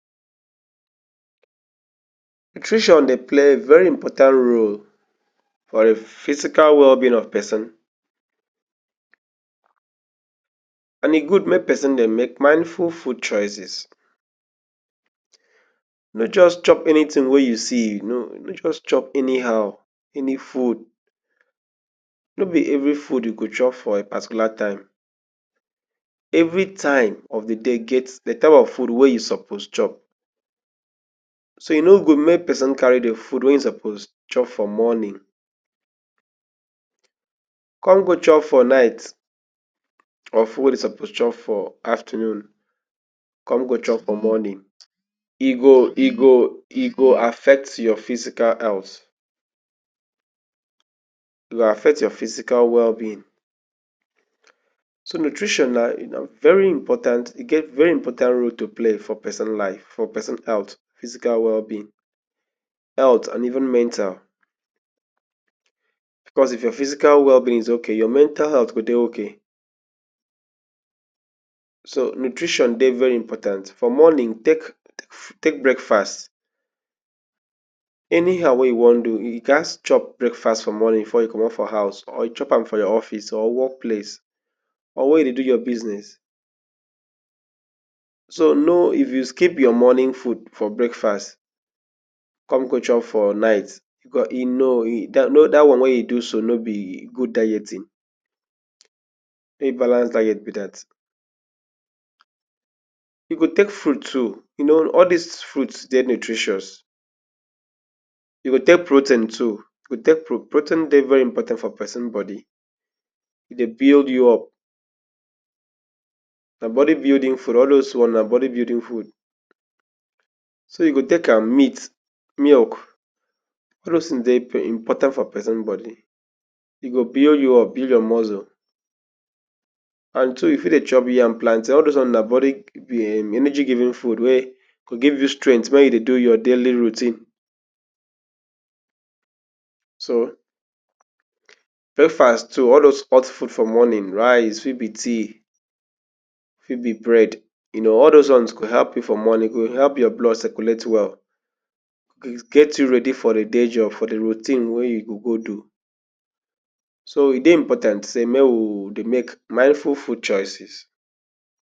Nutrition dey play very important role for di physical well-being of pesin and e good make pesin dey make mindful food choices. No just chop anytin wey you see, just chop anyhow. Any food no be evri food you go chop for a particular time. Evri time of di day get di type of food wey you suppose chop. So e no good make pesin carry di food wey im suppose chop for morning come go chop for night, carry di one e suppose chop for afternoon come go chop for morning. E go affect your physical health, e go affect your physical well-being. So nutrition na very important. E get very important role to play for pesin life, for pesin health, physical well-being, health and even mental. Bicos if your physical well-being dey okay, your mental health go dey okay. So nutrition dey very important. For morning, take breakfast anyhow wey you wan do. You gats chop breakfast for morning, before you comot for house or you chop am for your office, or wok place, or wia you dey do your business. So no skip your morning food for breakfast come go chop for night. Dat one wey you do so, no be good dieting, no be balanced diet be dat. You go take fruit too. You know all dis fruits dey nutritious. You go take protein too. Protein dey very important for pesin body. E dey build you up. Na body building food. All dose ones na body building foods. So you go take am. Meat, milk, all dose tins dey important for pesin body. E go build you up, build your muscles. And too, you fit dey chop yam and plantain. All dis ones na energy giving food wey go give you strength wey you go dey use do your daily routine. So breakfast too, all dose hot food for morning, rice, e fit be tea, e fit be bread. You know all dose ones go help morning. E go help your blood circulate well and get you ready for day job and di routine wey you go do. So e dey important make we dey make mindful food choices.you for